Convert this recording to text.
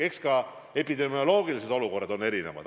Jah, eks epidemioloogilised olukorrad on erinevad.